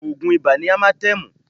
Oògùn Ibà ni Amatẹ́ẹ̀mù